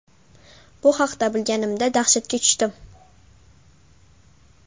Bu haqda bilganimda dahshatga tushdim.